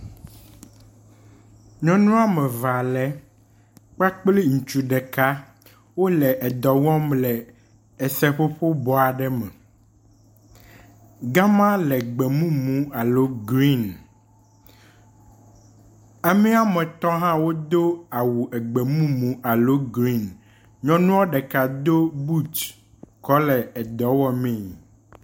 Nyɔnu woameve ale kpakple ŋutsu ɖeka wole edɔ wɔm le eseƒoƒo bɔ aɖe me. Ga ma le gbemumu alo green. Amee woametɔ̃ hã wodo awu egbemumu alo green. Nyɔnua ɖeka do buti kɔ le edɔ wɔ mee.